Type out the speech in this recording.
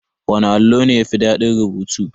Wana allo ne yafi daɗin rubutu?